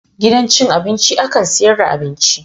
Gidan cin abinci akan sayar da abinci.